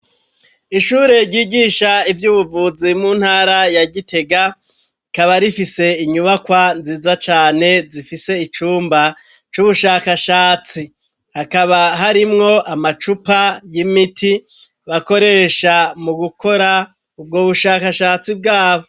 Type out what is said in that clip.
Ishure ryigisha ivy'ubuvuzi mu ntara ya Gitega ikaba rifise inyubakwa nziza cane zifise icumba c'ubushakashatsi hakaba harimwo amacupa y'imiti bakoresha mu gukora ubwo bushakashatsi bwabo.